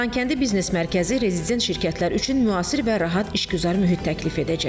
Xankəndi biznes mərkəzi rezident şirkətlər üçün müasir və rahat işgüzar mühit təklif edəcək.